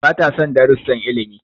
Bata son darussan ilimi.